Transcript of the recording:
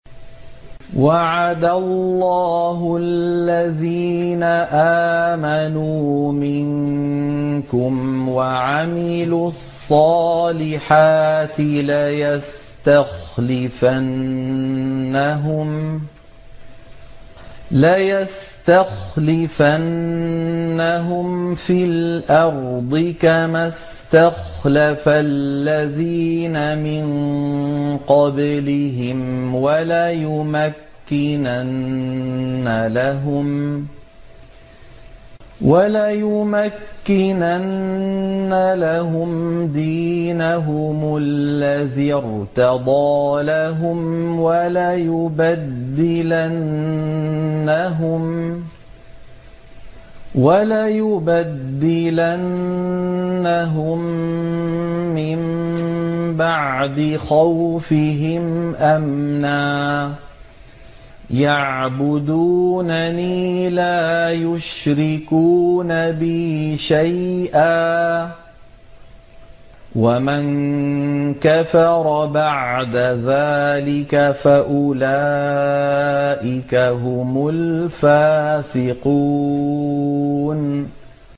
وَعَدَ اللَّهُ الَّذِينَ آمَنُوا مِنكُمْ وَعَمِلُوا الصَّالِحَاتِ لَيَسْتَخْلِفَنَّهُمْ فِي الْأَرْضِ كَمَا اسْتَخْلَفَ الَّذِينَ مِن قَبْلِهِمْ وَلَيُمَكِّنَنَّ لَهُمْ دِينَهُمُ الَّذِي ارْتَضَىٰ لَهُمْ وَلَيُبَدِّلَنَّهُم مِّن بَعْدِ خَوْفِهِمْ أَمْنًا ۚ يَعْبُدُونَنِي لَا يُشْرِكُونَ بِي شَيْئًا ۚ وَمَن كَفَرَ بَعْدَ ذَٰلِكَ فَأُولَٰئِكَ هُمُ الْفَاسِقُونَ